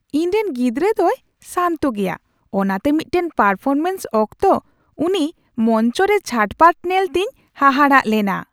ᱤᱧ ᱨᱮᱱ ᱜᱤᱫᱽᱨᱟᱹ ᱫᱚᱭ ᱥᱟᱱᱛᱚ ᱜᱮᱭᱟ, ᱚᱱᱟᱛᱮ ᱢᱤᱫᱴᱟᱝ ᱯᱟᱨᱯᱷᱚᱨᱢᱮᱱᱥ ᱚᱠᱛᱚ ᱩᱱᱤ ᱢᱚᱧᱪᱚᱨᱮ ᱪᱷᱟᱴᱯᱟᱴ ᱧᱮᱞᱛᱮᱧ ᱦᱟᱦᱟᱲᱟᱜ ᱞᱮᱱᱟ ᱾